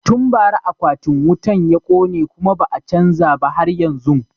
Tun bara akwatin wutan ya kone kuma ba a chanza ba har yanzun